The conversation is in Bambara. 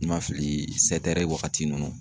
I ma fili waagati nunnu